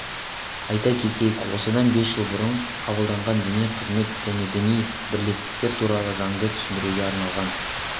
айта кетейік осыдан бес жыл бұрын қабылданған діни қызмет және діни бірлестіктер туралы заңды түсіндіруге арналған